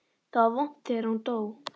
Það var vont þegar hún dó.